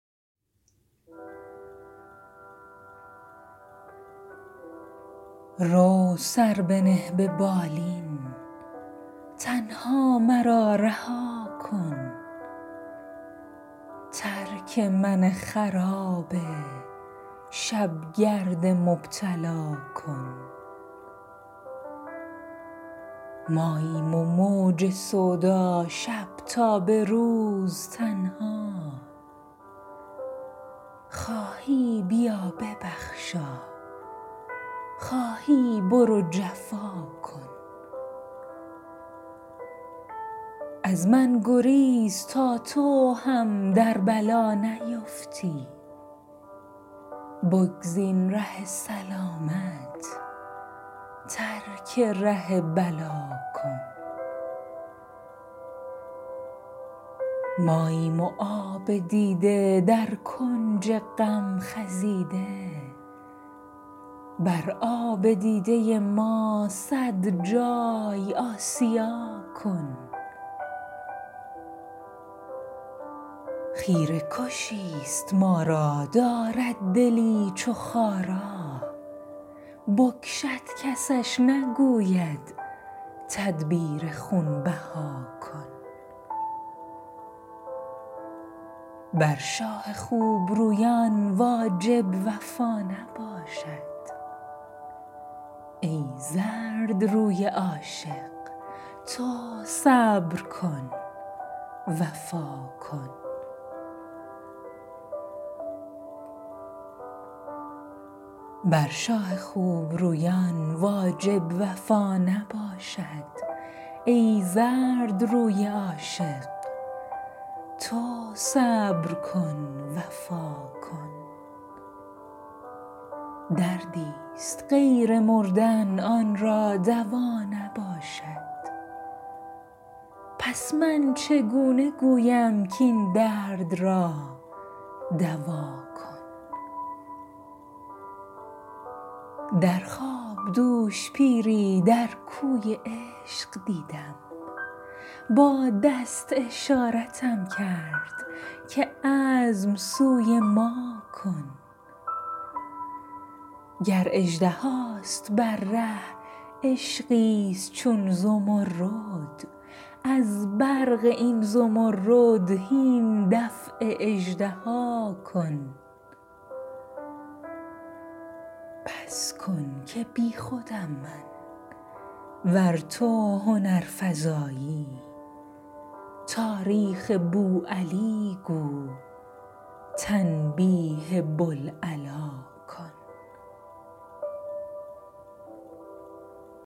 رو سر بنه به بالین تنها مرا رها کن ترک من خراب شب گرد مبتلا کن ماییم و موج سودا شب تا به روز تنها خواهی بیا ببخشا خواهی برو جفا کن از من گریز تا تو هم در بلا نیفتی بگزین ره سلامت ترک ره بلا کن ماییم و آب دیده در کنج غم خزیده بر آب دیده ما صد جای آسیا کن خیره کشی ست ما را دارد دلی چو خارا بکشد کسش نگوید تدبیر خون بها کن بر شاه خوب رویان واجب وفا نباشد ای زردروی عاشق تو صبر کن وفا کن دردی ست غیر مردن آن را دوا نباشد پس من چگونه گویم کاین درد را دوا کن در خواب دوش پیری در کوی عشق دیدم با دست اشارتم کرد که عزم سوی ما کن گر اژدهاست بر ره عشقی ست چون زمرد از برق این زمرد هین دفع اژدها کن بس کن که بی خودم من ور تو هنرفزایی تاریخ بوعلی گو تنبیه بوالعلا کن